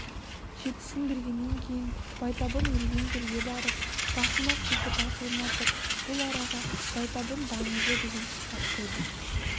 жетісін бергеннен кейін байтабын өлген жерге барып басына құлпытас орнатып бұл араға байтабын даңызы деген ат қойды